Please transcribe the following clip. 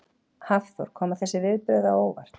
Hafþór: Koma þessi viðbrögð á óvart?